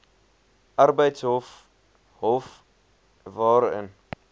arbeidshof hof waarin